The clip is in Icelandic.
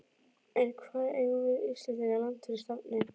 En hvar eygjum við Íslendingar land fyrir stafni?